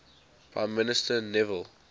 prime minister neville